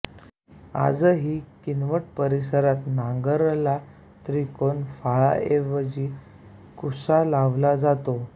आजही किनवट परिसरात नांगराला त्रिकोण फाळाऐवजी कुसा लावला जातो